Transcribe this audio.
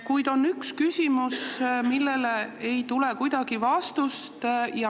Kuid on üks küsimus, millele ei tule kuidagi vastust.